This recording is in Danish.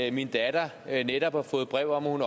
at min datter netop har fået brev om at hun